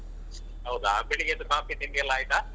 ಹೌದಾ? ಬೆಳಿಗ್ಗೆದ್ದು ಕಾಫಿ ತಿಂಡಿಯೆಲ್ಲ ಆಯ್ತಾ?